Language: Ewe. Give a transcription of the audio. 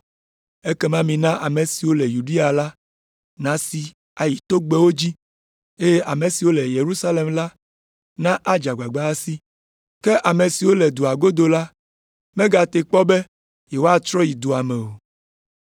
Ekema mina ame siwo le Yudea la nasi ayi togbɛwo dzi, eye ame siwo le Yerusalem la nadze agbagba asi. Ke ame siwo le dua godo la megate kpɔ be yewoatrɔ ayi dua me o.